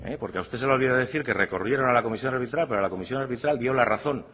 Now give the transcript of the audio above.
porque a usted se le ha olvidado decir que recurrieron a la comisión arbitral pero la comisión arbitral dio la razón